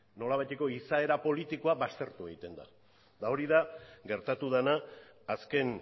nolabaiteko izaera politikoa baztertu egiten da eta hori da gertatu dena azken